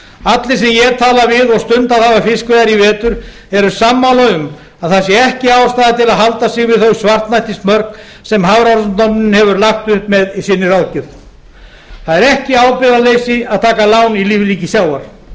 allir sem ég tala við og stundað hafa fiskveiðar í vetur eru sammála um að það sé ekki ástæða til að halda sig við þau svartnættismörk sem hafrannsóknastofnun hefur lagt upp með í sinni ráðgjöf það er ekki ábyrgðarleysi að taka lán í lífríki sjávar